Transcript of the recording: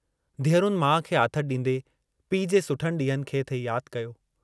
धीअरुनि माउ खे आथतु डींदे पीउ जे सुठनि डींहंनि खे थे याद कयो।